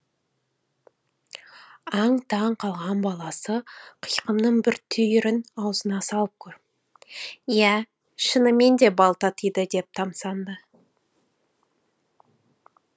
аң таң қалған баласы қиқымның бір түйірін аузына салып көріп иә шынымен де бал татиды деп тамсанды